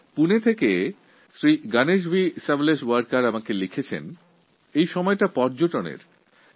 পুনে থেকে শ্রী গনেশ ভি সাওলেশওয়ার্কার আমায় লিখে জানিয়েছেন যে এই সময়টা পর্যটনের মরশুম